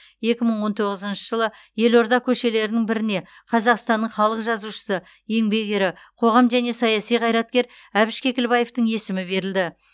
екі мың он тоғызыншы жылы елорда көшелерінің біріне қазақстанның халық жазушысы еңбек ері қоғам және саяси қайраткер әбіш кекілбаевтың есімі берілді